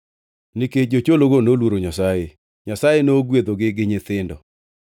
Nikech jochologo noluoro Nyasaye, Nyasaye nogwedhogi gi nyithindo.